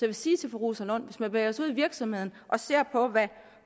vil sige til fru rosa lund hvis man bevæger sig ud i virksomhederne og ser på hvad